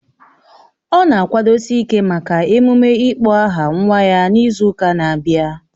Ọ na-akwadosi ịke maka emume ịkpọ aha nwa ya n'izu ụka na-abịa